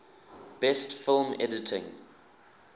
best film editing